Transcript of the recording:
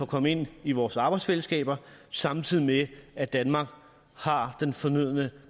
komme ind i vores arbejdsfællesskab samtidig med at danmark har den fornødne